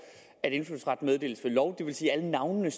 at indfødsret meddeles ved lov det vil sige at alle navnene